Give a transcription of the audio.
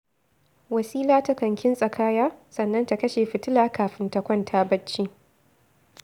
Wasila takan kintsa kaya, sannan ta kashe fitila kafin ta kwanta barci